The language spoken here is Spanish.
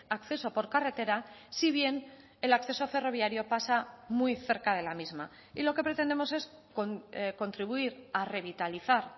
acceso por carretera si bien el acceso ferroviario pasa muy cerca de la misma y lo que pretendemos es contribuir a revitalizar